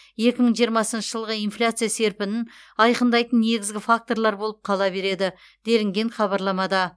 екі мың жиырмасыншы жылғы инфляция серпінін айқындайтын негізгі факторлар болып қала береді делінген хабарламада